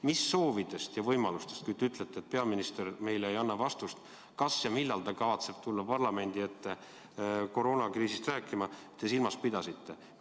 Mis soove ja võimalusi, kui te ütlete, et peaminister ei anna meile vastust, kas ja millal ta kavatseb tulla parlamendi ette koroonakriisist rääkima, te silmas pidasite?